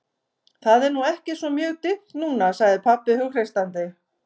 Það er nú ekki svo mjög dimmt núna, sagði pabbi hughreystandi.